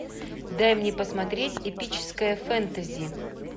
дай мне посмотреть эпическое фэнтези